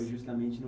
Foi justamente no